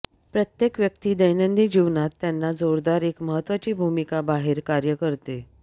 प्रत्येक व्यक्ती दैनंदिन जीवनात त्यांना जोरदार एक महत्त्वाची भूमिका बाहेर कार्य करते